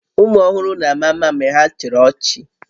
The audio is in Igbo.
Ụmụ ọhụrụ na-ama mma mgbe ha chịrị ọchị